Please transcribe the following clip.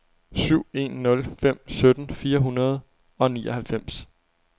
syv en nul fem sytten fire hundrede og nioghalvfems